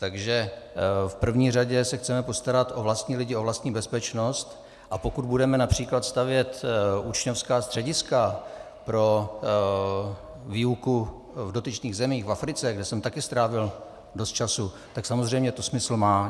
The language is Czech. Takže v první řadě se chceme postarat o vlastní lidi, o vlastní bezpečnost, a pokud budeme například stavět učňovská střediska pro výuku v dotyčných zemích, v Africe, kde jsem také strávil dost času, tak samozřejmě to smysl má.